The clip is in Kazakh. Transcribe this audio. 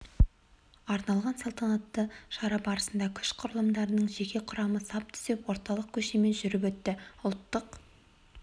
арналған салтанатты шара барысында күш құрылымдарының жеке құрамы сап түзеп орталық көшемен жүріп өтті ұлттық